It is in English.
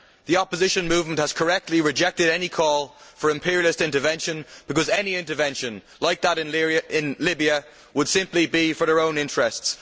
The opposition movement has correctly rejected any call for imperialist intervention, because any intervention like that in Libya would simply be for their own interests.